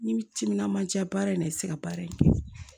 N'i bi timinandiya baara in na i ti se ka baara in kɛ